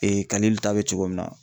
kalilu ta be cogo min na.